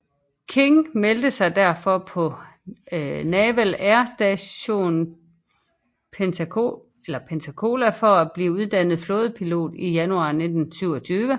King meldte sig derfor på Naval Air Station Pensacola for at blive uddannet flådepilot i januar 1927